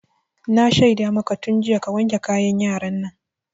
Na shaida maka tun jiya ka wanke kayan yaran nan!